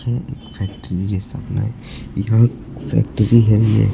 यह एक फैक्ट्री जैसा बना है यह फैक्ट्री है ये--